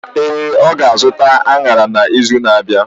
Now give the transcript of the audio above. Ee, ọ ga-azụta añara n’izu na-abịa.